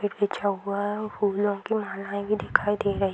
बिछा हुआ है फूलों की माला भी दिखाई दे रही --